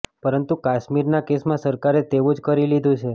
પરંતુ કાશ્મીરના કેસમાં સરકારે તેવું જ કરી લીધું છે